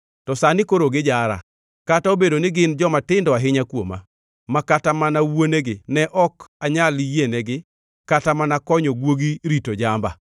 “To sani koro gijara, kata obedo ni gin jomatindo ahinya kuoma, ma kata mana wuonegi ne ok anyal yienegi kata mana konyo guogi rito jamba.